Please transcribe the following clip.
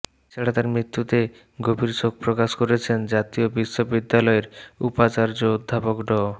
এছাড়া তার মৃত্যুতে গভীর শোক প্রকাশ করেছেন জাতীয় বিশ্ববিদ্যালয়ের উপাচার্য অধ্যাপক ড